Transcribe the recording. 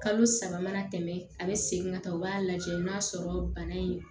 Kalo saba mana tɛmɛ a bɛ segin ka taa o b'a lajɛ n'a sɔrɔ bana in